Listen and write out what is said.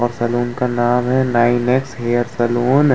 और सलून का नाम है नाइन एक्स हेयर सलून ।